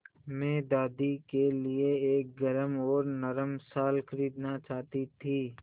मैं दादी के लिए एक गरम और नरम शाल खरीदना चाहती थी